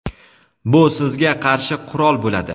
bu sizga qarshi qurol bo‘ladi.